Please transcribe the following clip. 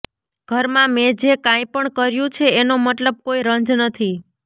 ઘરમાં મેં જે કાંઈ પણ કર્યું છે એનો મને કોઈ રંજ નથી